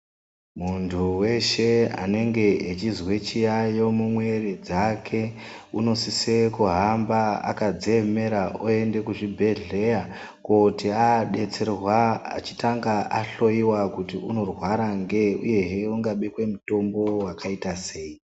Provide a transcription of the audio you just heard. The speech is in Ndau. Muntu weshe anenge echizwe chiyayo mu mwiri dzake unosise kuhamba akadzi emera oyende ku zvibhedhlera kuti adetserwa achitanga ahloyiwa kuti unorwara ngeyi uyehe uka bekwe mutombo wakaita sei.